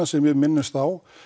sem ég minnist á